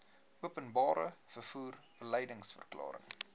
openbare vervoer beliedsverklaring